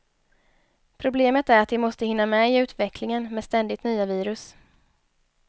Problemet är att de måste hinna med i utvecklingen, med ständigt nya virus.